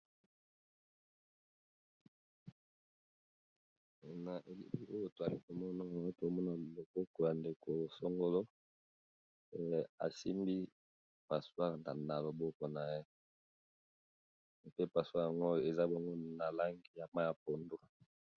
Na elili oyo toyali komona toyali komona loboko ya ndeko songolo esimbi passoir na loboko na ye pe passoir yango eza nango na langi ya mayi ya pondu.